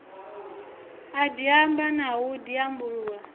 a diamba na u diambulula